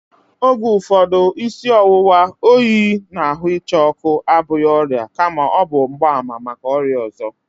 Oge ụfọdụ, isi ọwụwa, oyi na ahụ ịcha ọkụ abụghị ọrịa kama ọ bụ mgbaàmà maka ọrịa ọzọ